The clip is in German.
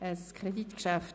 Es ist ein Kreditgeschäft.